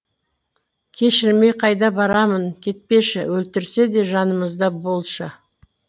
кешірмей қайда барамын кетпеші өлтірсе де жанымызда болшы